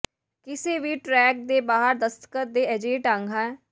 ਕਿਸੇ ਵੀ ਟਰੈਕ ਦੇ ਬਾਹਰ ਦਸਤਕ ਦੇ ਅਜਿਹੇ ਢੰਗ ਹੈ